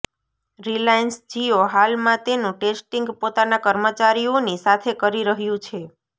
Reliance Jio હાલમાં તેનું testing પોતાના કર્મચારીઓની સાથે કરી રહ્યુ છે